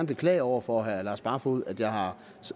beklage over for herre lars barfoed at jeg har